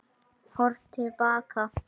Horft til baka